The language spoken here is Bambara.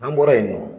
N'an bɔra yen nɔ